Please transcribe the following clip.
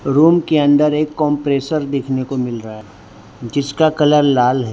Room के अंदर एक कंप्रेशर देखने को मिल रहा है जिसका कलर लाल है।